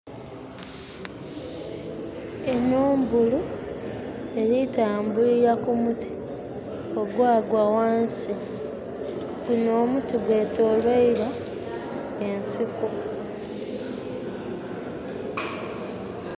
Enho mbulu, erikutambulira ku muti ogwaagwa ghansi. Gunho omuti gwetoloirwa ensiko.